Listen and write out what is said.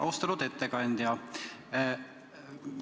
Austatud ettekandja!